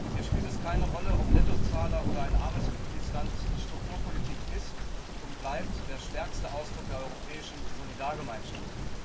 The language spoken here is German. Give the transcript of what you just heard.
Hier spielt es keine Rolle, ob Nettozahler oder ein armes Mitgliedsland, die Strukturpolitik ist und bleibt der stärkste Ausdruck der europäischen Solidargemeinschaft.